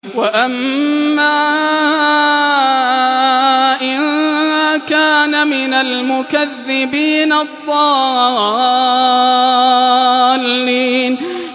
وَأَمَّا إِن كَانَ مِنَ الْمُكَذِّبِينَ الضَّالِّينَ